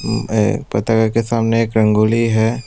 अह पताका के सामने एक रंगोली है।